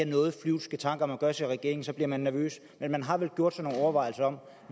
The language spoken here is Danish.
noget flyvske tanker man gør sig i regeringen så bliver man nervøs men man har vel gjort sig nogle overvejelser om